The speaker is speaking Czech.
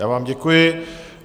Já vám děkuji.